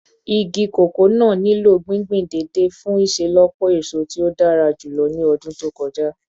Igi koko naa nilo gbingbin deede fun iṣelọpọ eso ti o dara julọ ni ọdun to kọja